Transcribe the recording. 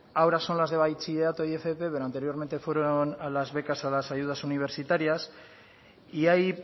ahora son las de bachillerato y fp pero anteriormente fueron las becas a las ayudas universitarias y ahí